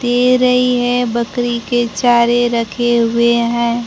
दे रही है बकरी के चारे रखे हुए हैं।